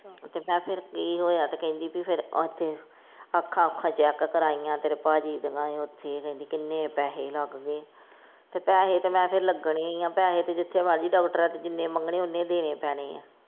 ਤੇ ਮੈ ਫੇਰ ਕਿ ਹੋਇਆ? ਤੇ ਕਹਿੰਦੀ ਫਿਰ ਉੱਥੇ ਅੱਖਾਂ ਉਖਾ ਚੈੱਕ ਕਰਾਈਆਂ ਤੇਰੇ ਪਾਜੀ ਦੀਆਂ ਉੱਥੇ ਕਹਿੰਦੀ ਕਿੰਨੇ ਪੈਸੇ ਲੱਗ ਗਏ ਤੇ ਪੈਸੇ ਤੇ ਮੈਂ ਫੇਰ ਲਗਣੇ ਹੀ ਆ ਪੈਸੇ ਤੇ ਜਿੱਥੇ ਮਰਜੀ ਡਾਕਟਰਾਂ ਤੇ ਜਿੰਨੇ ਮੰਗਣੇ ਓੰਨੇ ਦੇਣੇ ਪੈਣੇ ਆ।